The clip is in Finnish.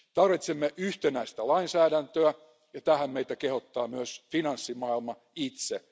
Tarvitsemme yhtenäistä lainsäädäntöä, ja tähän meitä kehottaa myös finanssimaailma itse.